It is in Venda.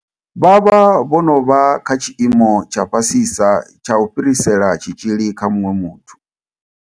Vha vha vho no vha kha tshiimo tsha fhasisa tsha u fhirisela tshitzhili kha muṅwe muthu.